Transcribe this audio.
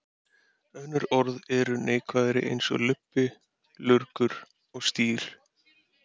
Önnur orð eru neikvæðari eins og lubbi, lurgur og strý.